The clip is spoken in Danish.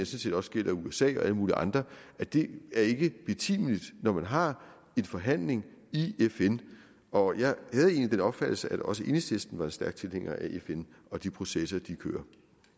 set også gælder usa og alle mulige andre det er ikke betimeligt når man har en forhandling i fn og jeg havde egentlig den opfattelse at også enhedslisten er stærk tilhænger af fn og de processer de kører